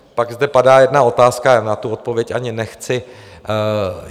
Pak zde padá jedna otázka a na tu odpověď ani nechci.